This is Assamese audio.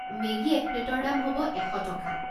মেগী এক প্লে'টৰ দাম হ'ব এশ টকা।